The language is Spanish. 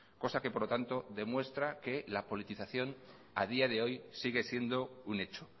cosa que por lo tanto demuestra que la politización a día de hoy sigue siendo un hecho